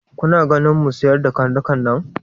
Kuna ganin mu sayar da karnukan nan?